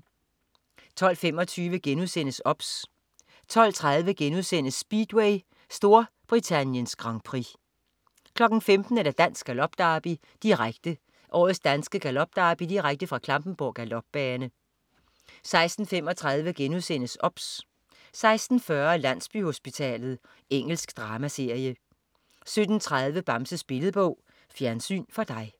12.25 OBS* 12.30 Speedway: Storbrittaniens Grand Prix* 15.00 Dansk Galop Derby, direkte. Årets danske galopderby direkte fra Klampenborg Galopbane 16.35 OBS* 16.40 Landsbyhospitalet. Engelsk dramaserie 17.30 Bamses Billedbog. Fjernsyn for dig